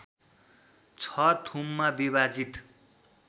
६ थुममा विभाजित